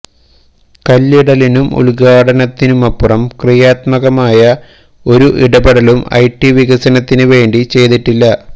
കല്ലിടലിനും ഉദ്ഘാടനത്തിനുമപ്പുറം ക്രിയാത്മകമായ ഒരു ഇടപെടലും ഐറ്റി വികസനത്തിന് വേണ്ടി ചെയ്തിട്ടില്ല